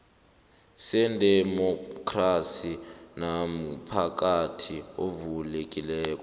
sedemokhrasi nomphakathi ovulekileko